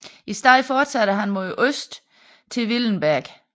I stedet fortsætter han mod øst til Willenberg